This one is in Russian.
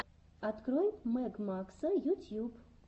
открой мэг макса ютьюб